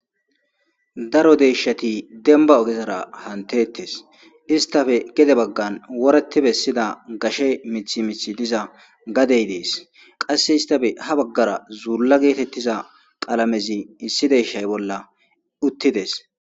Daro deeshati denba ogezara hantettes istafe gede baggan woreti bessida gashe mithi mithi diza gadey dees qasse istafe ha baggara zuurla geetettiza qalamezi issi deshay bolla uttides'